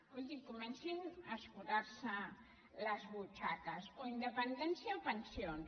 escolti comencin a escurar se les butxaques o independència o pensions